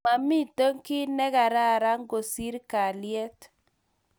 Mamito kiy ne kararan kosir kalyet